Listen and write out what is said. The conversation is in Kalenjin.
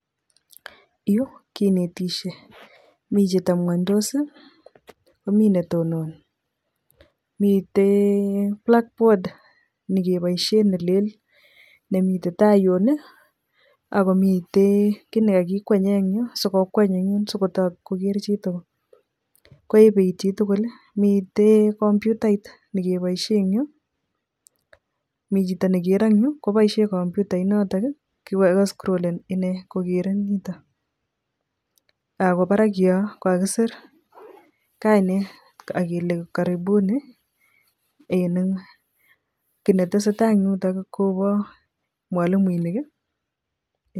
Yu kinetisie, mi chetebngunytos ii komi ne tononi, mitei blackboard nekeboisie ne leel nemitei tai yun ii, ako mitei kiy ne kakikwenye eng yu si ko kweny eng yun sikotok koker chitugul, koebeit chitugul ii, mitei computait ne keboisie eng yu, mi chito nekero ngyu koboisie computainotok ii ko kascrolen ine kokere nito, ako barak yo ko kakisir kainet ak kele karibuni kiy netesetai eng yuto kobo mwalimoinik ii.....